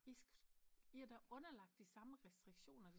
I skal i er da underlagt de samme restriktioner